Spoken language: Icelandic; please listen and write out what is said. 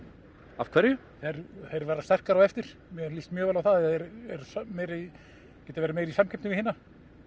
af hverju þeir verða sterkari á eftir mér lýst mjög vel á það þeir geta verið meira í samkeppni við hina